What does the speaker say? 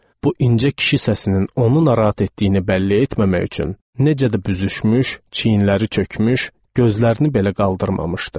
Bu incə kişi səsinin onu narahat etdiyini bəlli etməmək üçün necə də büzüşmüş, çiyinləri çökmüş, gözlərini belə qaldırmamışdı.